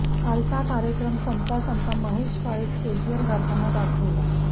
कालचा कार्यक्रम संपता संपता महेश काळे स्टेजवर गाताना दाखवला